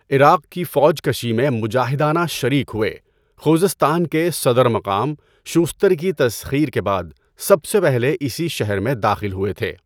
عراق کی فوج کشی میں مجاہدانہ شریک ہوئے، خوزستان کے صدر مقام شوستر کی تسخیر کے بعد سب سے پہلے اسی شہر میں داخل ہوئے تھے۔